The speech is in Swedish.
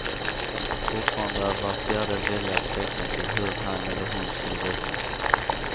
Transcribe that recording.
Fortfarande är var fjärde väljare tveksam till hur han eller hon skulle rösta.